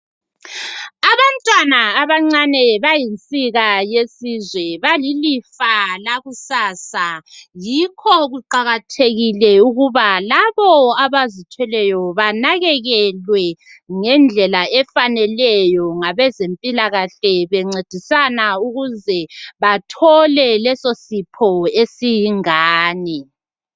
Abantwana abancane bayinsika yesizwe, balilifa lakusasa. Yikho kuqakathekile ukuba labo abazithweleyo banakekelwe ngendlela efaneleyo ngabezempilakahle, bencedisana ukuze bathole lesi sipho esiyingane.